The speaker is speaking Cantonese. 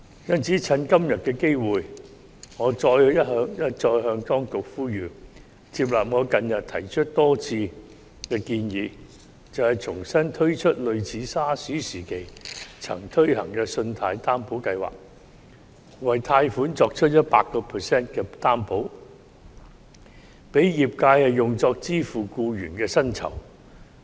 因此，藉着今天的機會，我一再向當局呼籲，接納我近日多次提出的建議，重新推出類似 SARS 時期曾推行的信貸擔保計劃，為貸款作出 100% 擔保，讓業界用作支付僱員的薪酬。